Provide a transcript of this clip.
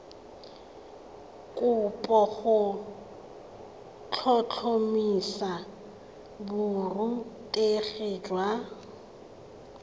kopo go tlhotlhomisa borutegi jwa